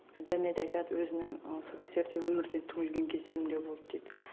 және де айтады өзінің сол кездерде өмірден түңілген кездерім де болды дейді